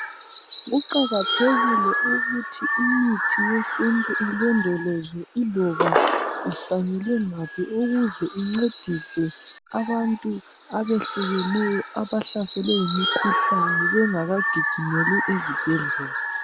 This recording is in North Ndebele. Kuqakathekile ukuthi imithi yesintu ilondolozwe iloba ihlanyelwe ngaphi ukuze incedise abantu abahlukeneyo abahlaselwe yimikhuhlane bengaka gijimeli ezibhedlela.